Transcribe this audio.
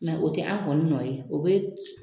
o tɛ an kɔni nɔ ye o bɛ